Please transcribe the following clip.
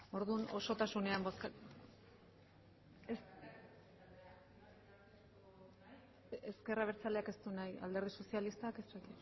orduan osotasunean bozkatuko dugu ezker abertzaleak ez du nahi alderdi sozialistak